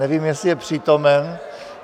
Nevím, jestli je přítomen.